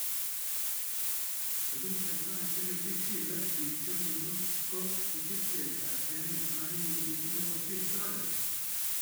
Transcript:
Tuguk chetai chekichilee piik chemnyandos ko kikipcheitaa eng netai wikiit nekosirtoi